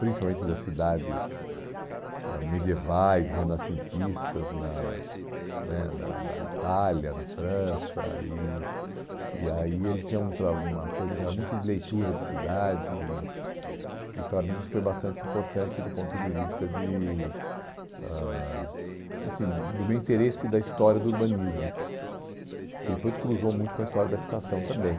principalmente das cidades ãh medievais, renascentistas, na né na na Itália, na França, e e aí ele tinha um tra uma coisa que era muito de leitura de cidade, e e para mim isso foi bastante importante do ponto de vista de ãh assim do meu interesse da história do urbanismo, que depois cruzou muito com a história da habitação também.